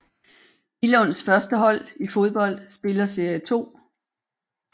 Billunds førstehold i fodbold spiller serie 2